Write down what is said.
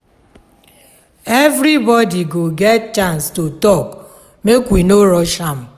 Everybody go get chance to tak, mek we no rush am